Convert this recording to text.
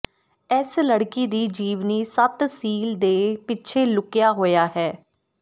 ਇਸ ਲੜਕੀ ਦੀ ਜੀਵਨੀ ਸੱਤ ਸੀਲ ਦੇ ਪਿੱਛੇ ਲੁਕਿਆ ਹੋਇਆ ਹੈ